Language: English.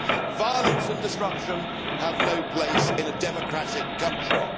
He said violence and destruction have no place in a democratic country'.